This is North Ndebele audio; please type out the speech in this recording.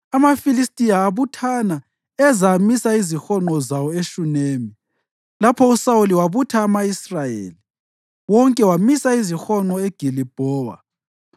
AmaFilistiya abuthana eza amisa izihonqo zawo eShunemi, lapho uSawuli wabutha ama-Israyeli wonke wamisa izihonqo eGilibhowa.